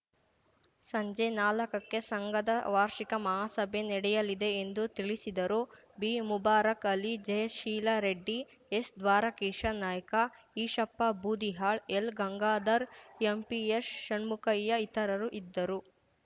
ಸಂಜೆ ನಾಲಕಕ್ಕೆ ಸಂಘದ ವಾರ್ಷಿಕ ಮಹಾಸಭೆ ನಡೆಯಲಿದೆ ಎಂದು ತಿಳಿಸಿದರು ಬಿಮುಬಾರಕ್‌ ಅಲಿ ಜಯಶೀಲ ರೆಡ್ಡಿ ಎಸ್‌ದ್ವಾರಕೀಶ ನಾಯ್ಕ ಈಶಪ್ಪ ಬೂದಿಹಾಳ್‌ ಎಲ್‌ಗಂಗಾಧರ್‌ ಎಂಪಿಎಶ್ಷಣ್ಮುಖಯ್ಯ ಇತರರು ಇದ್ದರು